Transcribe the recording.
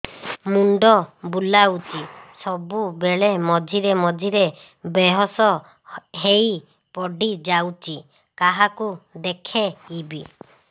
ମୁଣ୍ଡ ବୁଲାଉଛି ସବୁବେଳେ ମଝିରେ ମଝିରେ ବେହୋସ ହେଇ ପଡିଯାଉଛି କାହାକୁ ଦେଖେଇବି